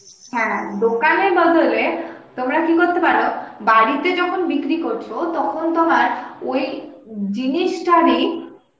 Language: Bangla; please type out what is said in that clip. হ্যাঁ দোকানের বদলে তোমরা কি করতে পারো বাড়িতে যখন বিক্রি করছো তখন তোমার ওই জিনিসটারই